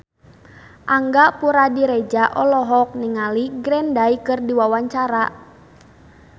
Angga Puradiredja olohok ningali Green Day keur diwawancara